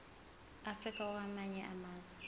africa kwamanye amazwe